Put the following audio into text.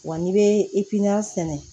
Wa n'i bɛ sɛnɛ